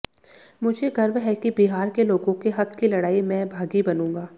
मुझे गर्व है कि बिहार के लोगों के हक की लड़ाई में भागी बनूंगा